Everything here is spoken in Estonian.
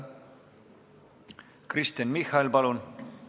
Kristen Michal, palun!